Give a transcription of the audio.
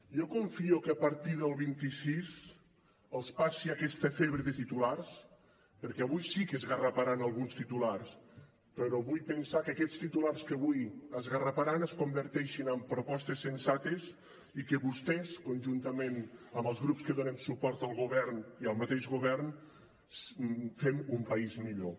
jo confio que a partir del vint sis els passi aquesta febre de titulars perquè avui sí que esgarraparan alguns titulars però vull pensar que aquests titulars que avui esgarraparan es converteixin en propostes sensates i que vostès conjuntament amb els grups que donem suport al govern i el mateix govern fem un país millor